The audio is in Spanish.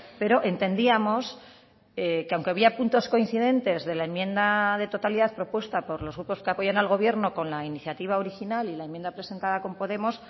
pero entendíamos que aunque había puntos coincidentes de la enmienda de totalidad propuesta por los grupos que apoyan al gobierno con la iniciativa original y la enmienda presentada con podemos